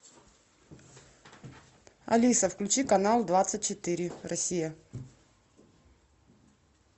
алиса включи канал двадцать четыре россия